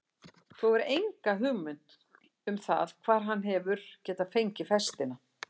Þú hefur enga hugmynd um það hvar hann hefur getað fengið festina?